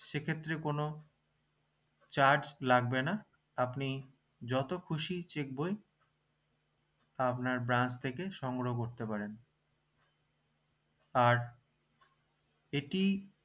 সে ক্ষেত্রে কোনো charge লাগবে না আপনি যত খুশি check বই আপনার branch থেকে সংগ্রহ করতে পারেন আর এটি